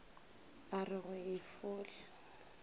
a re go e fohla